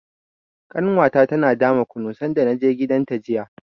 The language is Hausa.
Ƙanwata tana dama kunu sanda na je gidanta jiya.